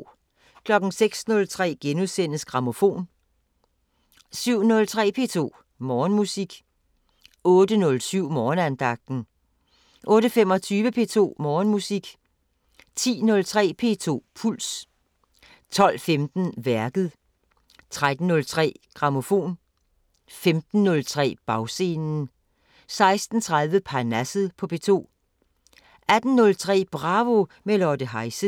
06:03: Grammofon * 07:03: P2 Morgenmusik 08:07: Morgenandagten 08:25: P2 Morgenmusik 10:03: P2 Puls 12:15: Værket 13:03: Grammofon 15:03: Bagscenen 16:30: Parnasset på P2 18:03: Bravo – med Lotte Heise